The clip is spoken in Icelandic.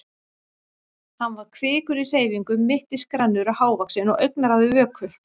Hann var kvikur í hreyfingum, mittisgrannur og hávaxinn og augnaráðið vökult.